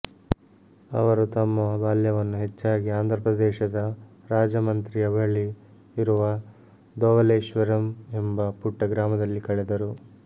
ಅವರು ತಮ್ಮ ಬಾಲ್ಯವನ್ನು ಹೆಚ್ಚಾಗಿ ಆಂಧ್ರಪ್ರದೇಶದ ರಾಜಮಂತ್ರಿಯ ಬಳಿ ಇರುವ ಧೊವಲೇಶ್ವರಂ ಎಂಬ ಪುಟ್ಟ ಗ್ರಾಮದಲ್ಲಿ ಕಳೆದರು